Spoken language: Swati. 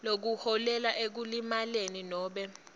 lokuholela ekulimaleni nobe